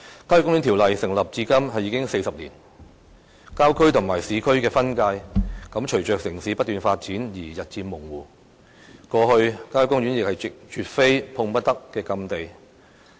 《郊野公園條例》制定至今已經40年，郊區與市區的分界隨着城市不斷發展而日漸模糊，過去郊野公園亦絕非碰不得的禁地。